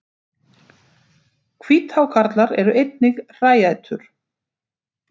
Hvíthákarlar eru einnig hræætur.